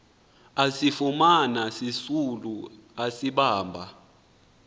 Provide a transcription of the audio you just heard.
asifumana sisisulu asibamba